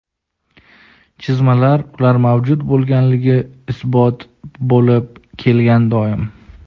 chizmalar ular mavjud bo‘lganligi isboti bo‘lib kelgan doim.